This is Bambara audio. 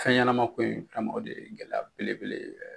Fɛnɲɛnamako in tun in o de ye gɛlɛya belebele